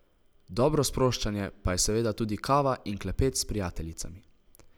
Dobro sproščanje pa je seveda tudi kava in klepet s prijateljicami.